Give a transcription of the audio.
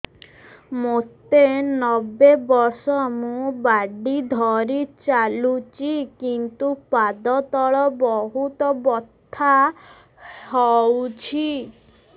ମୋତେ ନବେ ବର୍ଷ ମୁ ବାଡ଼ି ଧରି ଚାଲୁଚି କିନ୍ତୁ ପାଦ ତଳ ବହୁତ ବଥା ହଉଛି